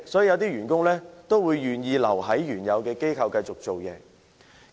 有些員工因而願意留在原來的機構繼續工作。